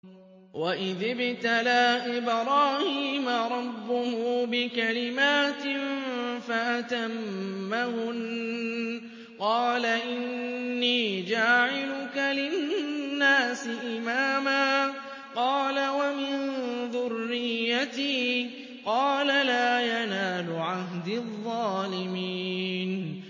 ۞ وَإِذِ ابْتَلَىٰ إِبْرَاهِيمَ رَبُّهُ بِكَلِمَاتٍ فَأَتَمَّهُنَّ ۖ قَالَ إِنِّي جَاعِلُكَ لِلنَّاسِ إِمَامًا ۖ قَالَ وَمِن ذُرِّيَّتِي ۖ قَالَ لَا يَنَالُ عَهْدِي الظَّالِمِينَ